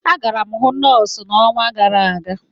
Agara m ịhụ nọọsụ ọnwa gara aga.